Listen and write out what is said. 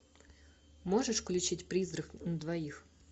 можешь включить призрак на двоих